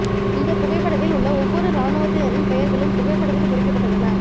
இந்த புகைப்படத்தில் உள்ள ஒவ்வொரு இராணுவ த்தினரின் பெயர்களும் புகைப்படத்தில் பொறிக்கப்பட்டுள்ளன